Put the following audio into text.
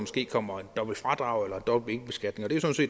kommer dobbelt fradrag eller dobbelt beskatning og